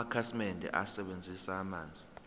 amakhasimende asebenzisa amanzi